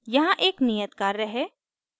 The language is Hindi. यहाँ एक नियत कार्य है